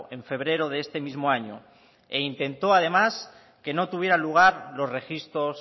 en febrero de este mismo año e intentó además que no tuvieran lugar los registros